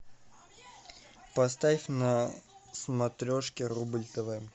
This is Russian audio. поставь на смотрешке рубль тв